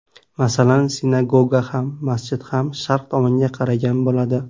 Masalan, sinagoga ham, masjid ham sharq tomonga qaragan bo‘ladi.